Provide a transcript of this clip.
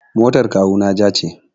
Motar kawuna ja ce.